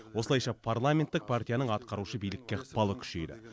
осылайша парламенттік партияның атқарушы билікке ықпалы күшейді